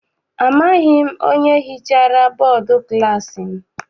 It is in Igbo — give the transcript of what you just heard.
Amaghị m onye hichara bọdu klassi m.